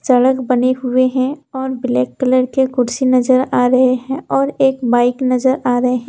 सड़क बनी हुई है और ब्लैक कलर के कुर्सी नजर आ रहे हैं और एक बाइक नजर आ रहे हैं।